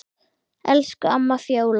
Elsku amma Fjóla.